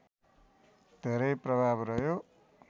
धेरै प्रभाव रह्यो